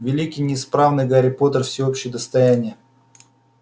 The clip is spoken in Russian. великий несравненный гарри поттер всеобщее достояние